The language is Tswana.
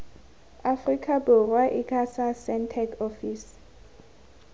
aforika borwa icasa sentech ofisi